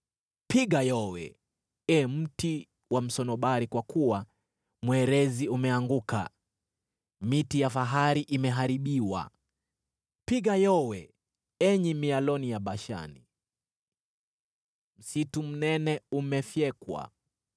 Piga yowe, ee mti wa msunobari, kwa kuwa mwerezi umeanguka; miti ya fahari imeharibiwa! Piga yowe, enyi mialoni ya Bashani, msitu mnene umefyekwa!